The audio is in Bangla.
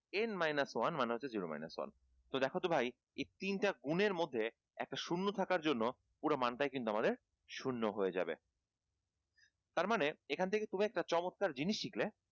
n minus one মানে হচ্ছে zero minus one তো দেখ তো ভাই এই তিনটা গুণের মধ্যে একটা শূন্য থাকার জন্য পুরা মানটাই কিন্তু আমাদের শূন্য হয়ে যাবে তার মানে এখান থেকে তুমি একটা খুব চমৎকার জিনিস শিখলে।